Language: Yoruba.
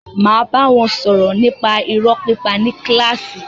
Máa bá wọn sọ̀rọ̀ nípa irọ́ pípa ní kílàsì.